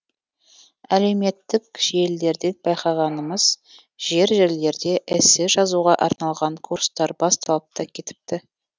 әлеуметтік желілерден байқағанымыз жер жерлерде эссе жазуға арналған курстар басталып та кетіпті